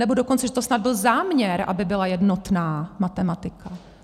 Nebo dokonce, že to snad byl záměr, aby byla jednotná matematika.